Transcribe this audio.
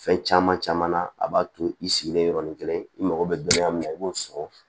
Fɛn caman caman na a b'a to i sigilen yɔrɔnin kelen i mako bɛ dɔnniya min na i b'o sɔrɔ